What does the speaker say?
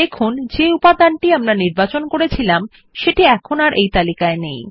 দেখুন যে উপাদানটি আমরা নির্বাচন করেছিলাম সেটি এখন আর তালিকায় নেই